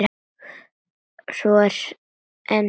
Svo er enn eitt.